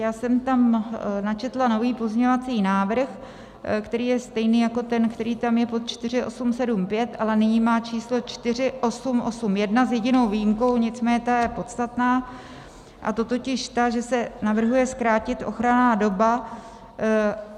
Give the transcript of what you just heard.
Já jsem tam načetla nový pozměňovací návrh, který je stejný jako ten, který tam je pod 4875, ale nyní má číslo 4881, s jedinou výjimkou, nicméně ta je podstatná, a to totiž ta, že se navrhuje zkrátit ochranná doba.